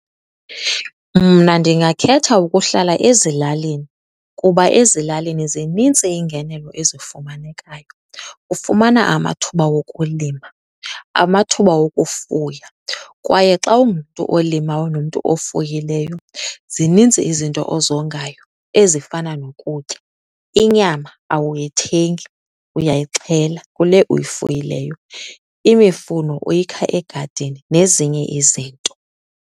Mna ndingakhetha ukuhlala ezilalini. Kuba ezilalini zinintsi iingenelo ezifumanekayo, ufumana amathuba wokulima, amathuba wokufuya. Kwaye xa ungumntu olimayo ungumntu ofuyileyo zininzi izinto ozongayo ezifana nokutya. Inyama awuyithengi, uyayixhela kule uyifuyileyo. Imifuno uyikha egadini nezinye izinto.